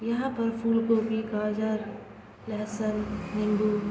यहाँ पर फूल गोबी गाजर लहसन नींबू --